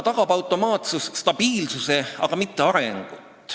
Automaatsus tagab stabiilsuse, aga mitte arengut.